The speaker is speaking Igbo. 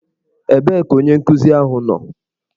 Ebee ka onye nkuzi ahụ nọ?